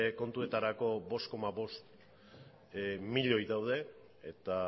kontuetarako bost koma bost milioi daude eta